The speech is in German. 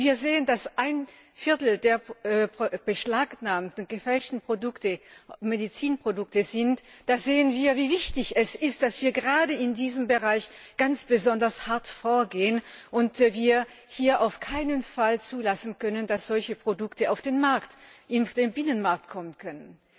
Wenn ein Viertel der beschlagnahmten gefälschten Produkte Medizinprodukte sind, sehen wir, wie wichtig es ist, dass wir gerade in diesem Bereich ganz besonders hart vorgehen müssen und wir hier auf keinen Fall zulassen können, dass solche Produkte in den Binnenmarkt kommen können.